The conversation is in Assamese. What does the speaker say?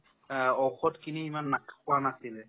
অ, ঔষোধ কিনি ইমান নাখ খোৱা নাছিলে